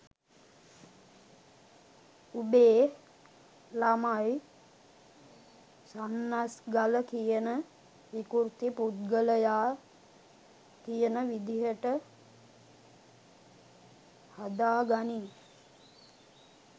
උබේ ලමයි සන්නස්ගල කියන විකුර්ති පුද්ගලයා කියන විදියට හදා ගනින්